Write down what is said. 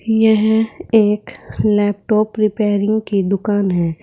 यह एक laptop repairing की दुकान है।